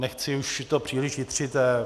Nechci už to příliš jitřit.